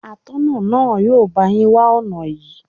Atọ́nà náà yóò bá yín wá ọ̀nà yín.